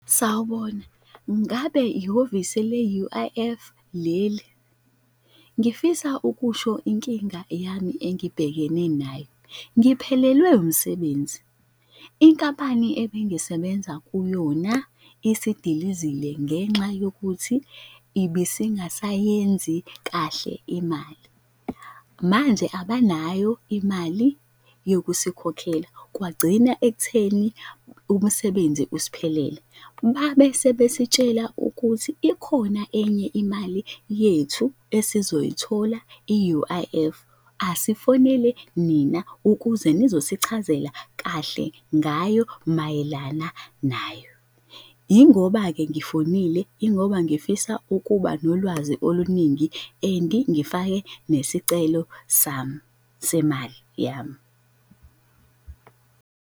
Sawubona. Ngabe ihhovise le-U_I_F leli? Ngifisa ukusho inkinga yami engibhekene nayo. Ngiphelelwe umsebenzi, inkampani ebengisebenza kuyona isidilizile ngenxa yokuthi ibisingasayenzi kahle imali. Manje abanayo imali yokusikhokhela kwagcina ekutheni umsebenzi usiphelele. Babese besitshela ukuthi ikhona enye imali yethu esizoyithola i-U_I_F. Asifonele nina, ukuze nizosichazela kahle ngayo mayelana nayo. Yingoba-ke ngifonile, yingoba ngifisa ukuba nolwazi oluningi and ngifake nesicelo sami semali yami.